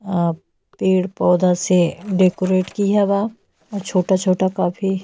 अ पेड़ पौधा से डेकोरेट की है बा। अ छोटा-छोटा काफी --